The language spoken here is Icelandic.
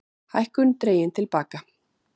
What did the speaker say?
Hækkun dregin til baka